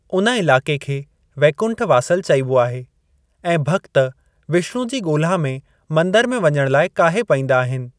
उन इलाके खे वैकुंठ वासल चइबो आहे ऐं भक्त विष्णु जी ॻोल्‍हा में मंदर में वञण लाए काहे पइंदा आहिनि।